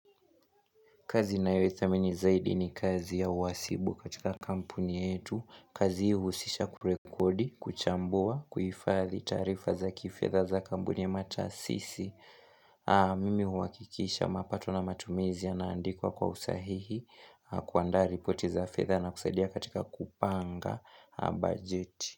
Kazi ninayoithamini zaidi ni kazi ya uhasibu katika kampuni yetu. Kazi hii huhusisha kurekodi, kuchambua, kuhifathi taarifa za kifedha za kampuni ama taasisi. Mimi huhakikisha mapato na matumizi yanaandikwa kwa usahihi kuandaa ripoti za fedha na kusaidia katika kupanga bajeti.